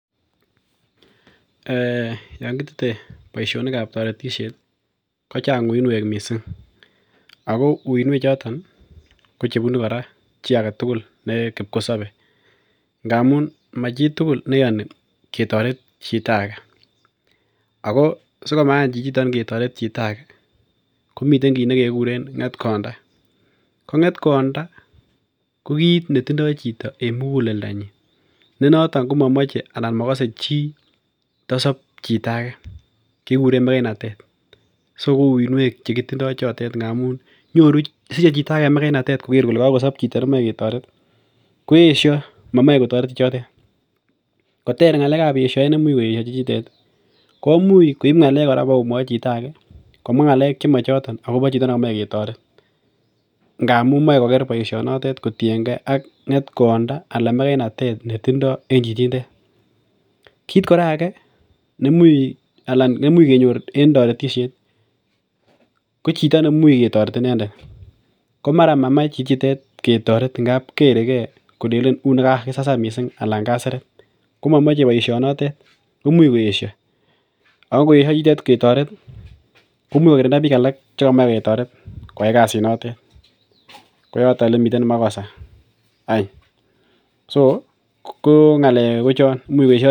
Eeh yoon kitete boishonikab toretishet kochang uinwek mising ak ko uinwek choton ko chebunu kora chii aketukul nee kipkosobe ng'amun machitukul neyoni ketoret chito akee ak ko sikomayan chichiton ketoret chito akee komiten kiit nekikuren ng'etkonda, ko ng'etkonda ko kiit netindo chito en mukuleldanyin nenoton komomoche anan mokose chii tosob chito akee kikuren mekeinatet, so ko uinwek chekitindo chotet ng'amun siche chito akee mekeinatet koker kolee kokosob chito nemoe ketoret, koyesho momoe kotoret chichitet koter yeshoet nemuch koyesho chichitet komuch koib ng'alek bokomwoi chito akee komwa ng'alek chemochoton akobo chito nemoe ketoret ng'amun moche koker boishonotet kotieng'e ak ng'etkonda anan mekeinatet netindo en chichindet, kiit kora akee neimuch kenyor en toretishet kochito neimuch ketoret inendet komara mamach chichitet ketoret ng'ab kerekee kolelen unee kakisasan mising alan kaseret, komomoche boishonotet koimuch koyesho ak koyesho chichitet ketoret komuch kokirinda biik alak chekimoe ketoret koyai kasinotet, koyoton elemiten makosa any, so ko ng'alek kochon, imuch koyesho.